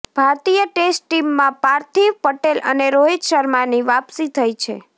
ભારતીય ટેસ્ટ ટીમમાં પાર્થિવ પટેલ અને રોહિત શર્માની વાપસી થઇ છે